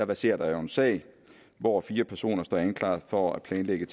verserer der jo en sag hvor fire personer står anklaget for at planlægge